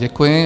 Děkuji.